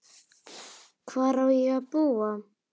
Hvar á ég að búa?